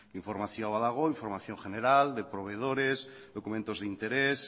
informazio badago información general de proveedores documentos de interés